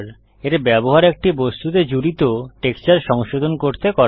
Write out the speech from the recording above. এর ব্যবহার একটি বস্তুতে জুড়িত টেক্সচার সংশোধন করতে করা হয়